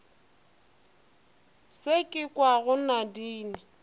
se ke se kwago nadine